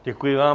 Děkuji vám.